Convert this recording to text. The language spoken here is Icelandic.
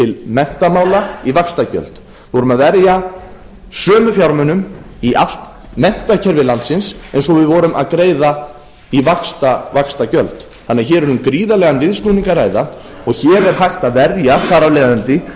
menntamála í vaxtagjöld við vorum að verja sömu fjármunum í allt menntakerfi landsins og við vorum að greiða í vaxtagjöld hér er því um gríðarlegan viðsnúning að ræða og hér er hægt að verja þar af leiðandi